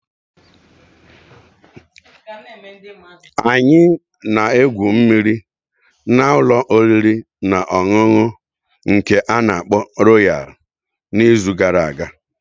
Anyị na-egwu mmiri na ụlọ oriri na ọṅụṅụ nke ana-akpo Royal n'izu gara aga.